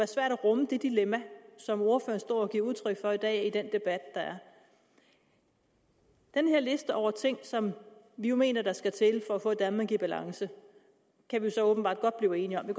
svært at rumme det dilemma som ordføreren står og giver udtryk for i dag i den debat der er den her liste over ting som vi jo mener skal til for at få et danmark i balance kan vi så åbenbart godt blive enige om vi